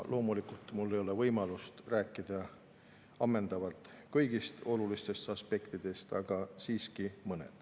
Loomulikult ei ole mul võimalust rääkida ammendavalt kõigist olulistest aspektidest, aga mõnest siiski.